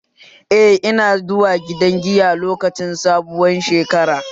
Eh, ina zuwa gidan giya lokacin bikin sabuwar shekara